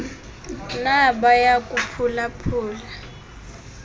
nabaya kuphula phula